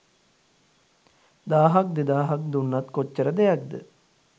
දාහක් දෙදාහක් දුන්නත් කොච්චර දෙයක්ද